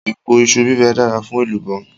Èpo iṣu bíbẹ dára fún èlùbọ́.